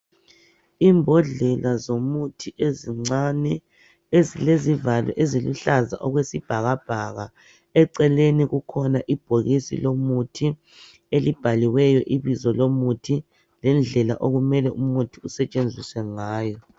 Imbodlela zomuthi ezincane ezilezivalo eziluhlaza okwesibhakabhaka eceleni kukhona ibhokisi lomuthi elibhaliweyo ibizo lomuthi lendlela okumele umuthi usetshenziswa ngayo